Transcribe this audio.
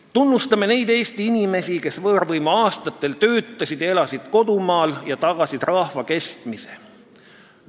Tunnustame neid Eesti inimesi, kes võõrvõimu aastatel töötasid ja elasid kodumaal ning tagasid rahva kestmise.